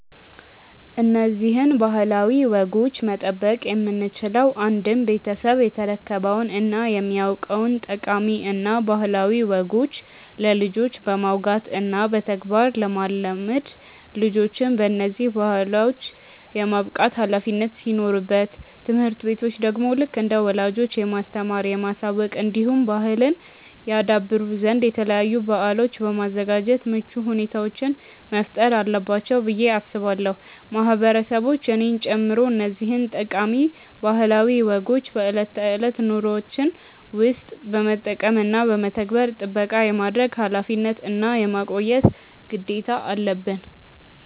እነዚህን ባህላዊ ወጎች መጠበቅ የምንችለው አንድም ቤተሰብ የተረከበውን እና የሚያውቀውን ጠቃሚ እና ባህላዊ ወጎች ለልጆች በማውጋት እና በተግባር ለማለማመድ ልጆችን በነዚህ ባህሎች የማብቃት ኃላፊነት ሲኖርበት ትምህርት ቤቶች ደግሞ ልክ እንደ ወላጆች የማስተማር፣ የማሳወቅ እንዲሁም ባህልን ያደብሩ ዘንድ የተለያዩ በአሎችን በማዘጋጃት ምቹ ሁኔታዎችን መፍጠር አለባቸው ብዬ አስባለው። ማህበረሰቦች እኔን ጨምሮ እነዚህን ጠቃሚ ባህላዊ ወጎችን በእለት ተእለት ኑሮዎችን ውስጥ በመጠቀም እና በመተግበር ጥበቃ የማድረግ ኃላፊነት እና የማቆየት ግዴታ አለበን።